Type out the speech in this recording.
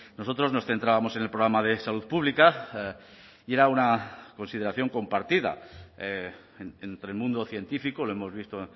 nosotros nos centrábamos en el programa de salud pública y era una consideración compartida entre el mundo científico lo hemos visto